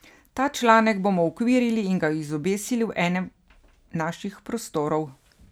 Ta članek bomo uokvirili in ga izobesili v enem naših prostorov.